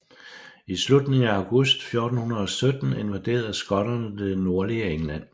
I slutningen af august 1417 invaderede skotterne det nordlige England